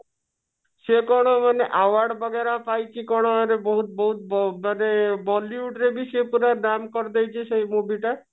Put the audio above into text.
ସେ କଣ ମାନେ award ବଗେର ପାଇଛି କଣ ବହୁତ ବହୁତ ମାନେ bollywood ରେ ସେ ପୁରା ନାମ କରିଦେଇଛି ସେ movie ଟା